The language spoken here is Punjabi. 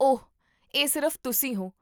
ਓਹ, ਇਹ ਸਿਰਫ਼ ਤੁਸੀਂ ਹੋ!